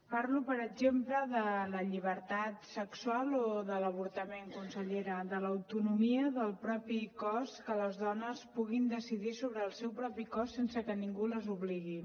parlo per exemple de la llibertat sexual o de l’avortament consellera de l’autonomia del propi cos que les dones puguin decidir sobre el seu propi cos sense que ningú les obligui